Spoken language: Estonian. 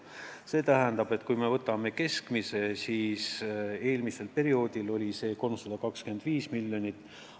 See tähendab, et kui me võtame keskmise, siis eelmisel perioodil oli see 325 miljonit.